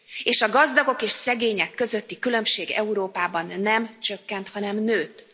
és a gazdagok és szegények közötti különbség Európában nem csökkent, hanem nőtt.